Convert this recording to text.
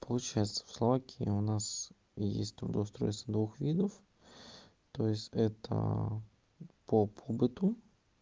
получается в словакии у нас есть трудоустройство двух видов то есть это по пабыту